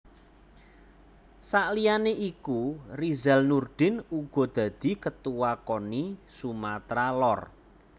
Saliyane iku Rizal Nurdin uga dadi Ketuwa Koni Sumatra Lor